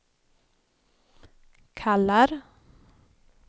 kallar